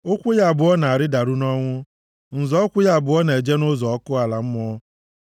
Ụkwụ ya abụọ na-arịdaru nʼọnwụ, nzọ ụkwụ ya abụọ na-eje nʼụzọ ọkụ ala mmụọ.